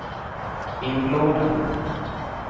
inlåda